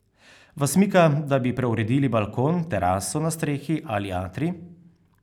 Vas mika, da bi preuredili balkon, teraso na strehi ali atrij?